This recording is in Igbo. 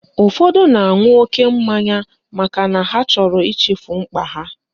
Ụfọdụ na-aṅụ oke mmanya makana ha chọrọ ichefu mkpa ha